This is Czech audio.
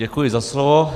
Děkuji za slovo.